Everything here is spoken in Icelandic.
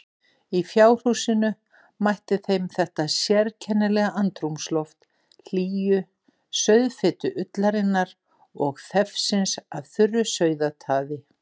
Í fjárhúsinu mætti þeim þetta sérkennilega andrúmsloft hlýju, sauðfitu ullarinnar og þefsins af þurru sauðataði.